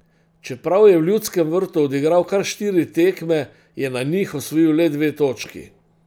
Čeprav je v Ljudskem vrtu odigral kar štiri tekme, je na njih osvojil le dve točki.